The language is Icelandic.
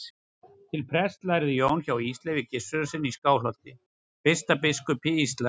Til prests lærði Jón hjá Ísleifi Gissurarsyni í Skálholti, fyrsta biskupi Íslands.